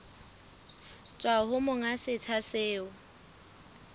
tswa ho monga setsha seo